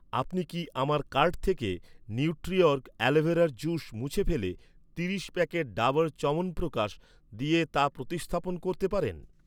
আপনি কি আমার কার্ট থেকে নিউট্রিওর্গ অ্যালোভেরার জুস মুছে ফেলে তিরিশ প্যাকেট ডাবর চ্যবনপ্রকাশ দিয়ে তা প্রতিস্থাপন করতে পারেন?